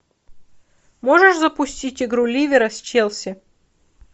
можешь запустить игру ливера с челси